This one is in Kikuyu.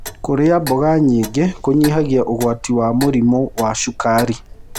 Kũrĩa mmboga nyĩngĩ kũnyĩhagĩa ũgwatĩ wa mũrĩmũ wa cũkarĩ